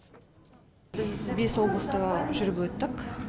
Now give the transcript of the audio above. біз бес облыста жүріп өттік